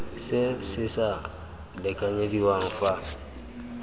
se se sa lekanyediwang fa